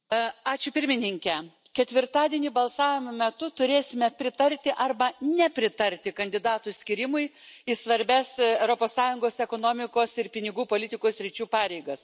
Gerbiamas Pirmininke, ketvirtadienį balsavimo metu turėsime pritarti arba nepritarti kandidatų skyrimui į svarbias Europos Sąjungos ekonomikos ir pinigų politikos sričių pareigas.